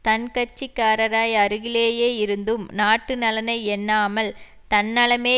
தன் கட்சிக்காரராய் அருகிலேயே இருந்தும் நாட்டு நலனை எண்ணாமல் தன்னலமே